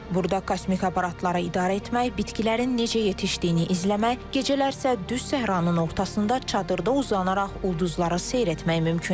Burada kosmik aparatları idarə etmək, bitkilərin necə yetişdiyini izləmək, gecələr isə düz səhranın ortasında çadırda uzanaraq ulduzları seyr etmək mümkündür.